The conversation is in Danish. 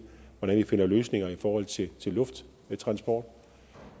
hvordan vi finder løsninger i forhold til lufttransport